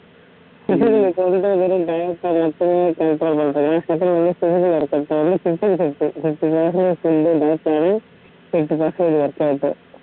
control பண்றது இல்ல workout